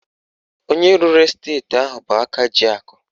Onye rụrụ esteti ahụ bụ aka ji akụ